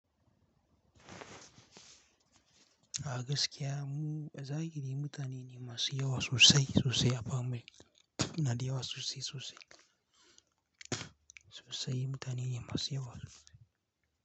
A gaskiya mu zagaye mutane ne masu yawa sosai sosai a Pamuk. Nada yawa sosai sosai. Sosai mutane ne masu yawa.